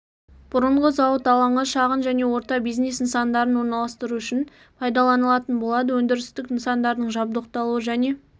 бұрынғы зауыт алаңы шағын және орта бизнес нысандарын орналастыру үшін пайдаланылатын болады өндірістік нысандардың жабдықталуы және